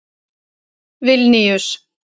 Vilníus